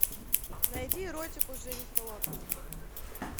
найди эротику с дженнифер лопес